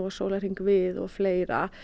sólarhringnum við og fleira